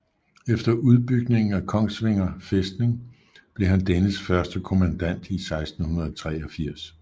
Efter udbygningen af Kongsvinger Fæstning blev han dennes første kommandant i 1683